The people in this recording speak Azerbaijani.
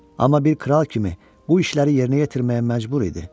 Amma bir kral kimi bu işləri yerinə yetirməyə məcbur idi.